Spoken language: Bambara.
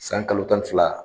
San kalo tan ni fila